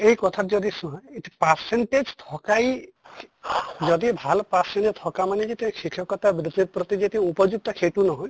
এই কথাত যদি percent থ্কাই যদি ভাল percent থকা মানে যে তেওঁ শিক্ষ্কতা বৃত্তিত প্ৰতি যে উপযুক্ত সেইটো নহয়